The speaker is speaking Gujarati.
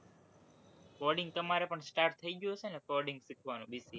coding તમારે પણ start થઇ ગયું હશે ને coding શીખવાનું BCA માં?